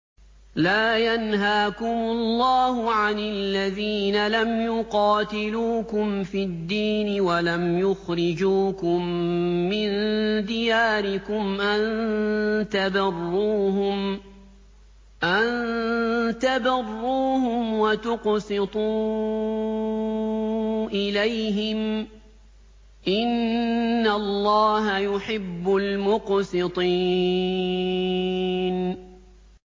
لَّا يَنْهَاكُمُ اللَّهُ عَنِ الَّذِينَ لَمْ يُقَاتِلُوكُمْ فِي الدِّينِ وَلَمْ يُخْرِجُوكُم مِّن دِيَارِكُمْ أَن تَبَرُّوهُمْ وَتُقْسِطُوا إِلَيْهِمْ ۚ إِنَّ اللَّهَ يُحِبُّ الْمُقْسِطِينَ